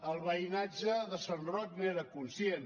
el veïnatge de sant roc n’era conscient